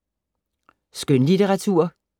Skønlitteratur